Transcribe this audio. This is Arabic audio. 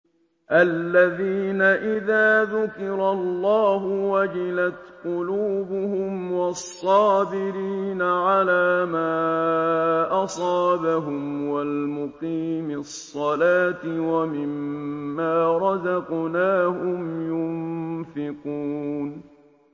الَّذِينَ إِذَا ذُكِرَ اللَّهُ وَجِلَتْ قُلُوبُهُمْ وَالصَّابِرِينَ عَلَىٰ مَا أَصَابَهُمْ وَالْمُقِيمِي الصَّلَاةِ وَمِمَّا رَزَقْنَاهُمْ يُنفِقُونَ